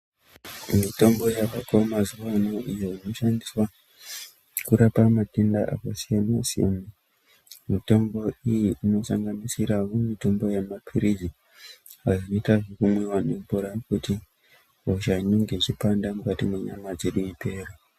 Mitombo yavako mazuwano ino inoshandiswa kurapa matenda akasiyana-siyana. Mitombo iyi inosanganisirawo mitombo yamaphirizi ayo anoita zvekumwiwa nemvura kuti hosha inenge ichipanda mukati mwenyama dzedu ipere.